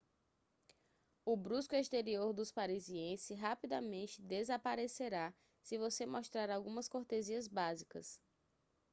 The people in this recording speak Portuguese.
o brusco exterior dos parisiense rapidamente desaparecerá se você mostrar algumas cortesias básicas